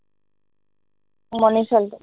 মনিছালটো